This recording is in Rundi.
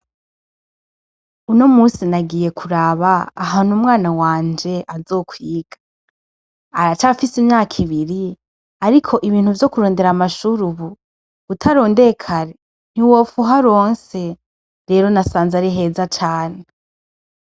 Uno musi nagiye kuraba ahantu umwana wanje azokwiga, aracafise imyaka ibiri, ariko ibintu vyo kurondera amashure ubu utarondeye kare ntiwopfa uharonse, rero nasanze ari heza cane.